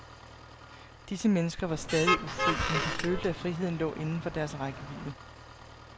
Disse mennesker var stadig ufrie, men de følte, at friheden lå inden for deres rækkevidde.